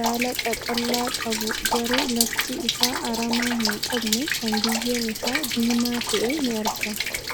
baala qaqal'aa qabu garuu lafti isaa aramaa hin qabne kan biyyeen isaa diimaa ta'e ni argama.